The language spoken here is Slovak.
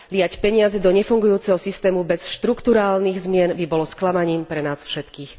Liať peniaze do nefungujúceho systému bez štrukturálnych zmien by bolo sklamaním pre nás všetkých.